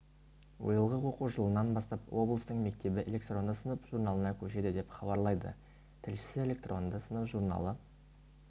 биылғы оқу жылынан бастап облыстың мектебі электронды сынып журналына көшеді деп хабарлайды тілшісі электронды сынып журналы